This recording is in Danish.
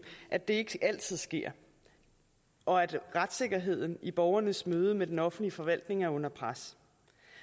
at det ikke altid sker og at retssikkerheden i borgernes møde med den offentlige forvaltning er under pres